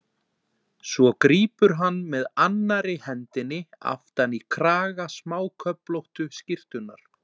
Svo grípur hann með annarri hendinni aftan í kraga smáköflóttu skyrtunnar.